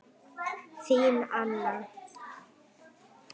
Þín, Anna.